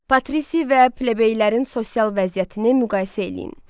Patrisi və plebeylərin sosial vəziyyətini müqayisə eləyin.